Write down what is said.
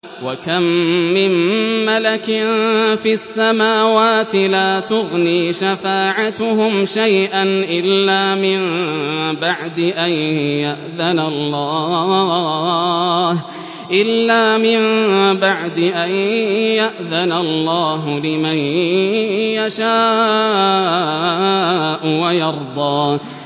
۞ وَكَم مِّن مَّلَكٍ فِي السَّمَاوَاتِ لَا تُغْنِي شَفَاعَتُهُمْ شَيْئًا إِلَّا مِن بَعْدِ أَن يَأْذَنَ اللَّهُ لِمَن يَشَاءُ وَيَرْضَىٰ